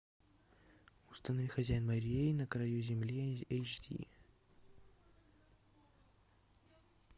установи хозяин морей на краю земли эйч ди